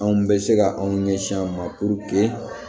Anw bɛ se ka anw ɲɛsin an ma